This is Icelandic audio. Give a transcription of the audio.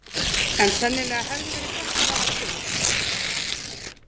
En sennilega hefði verið gott að halda fund.